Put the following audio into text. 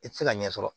I tɛ se ka ɲɛ sɔrɔ